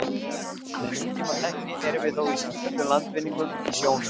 Með nútímatækni erum við þó í sífelldum landvinningum í sjónum.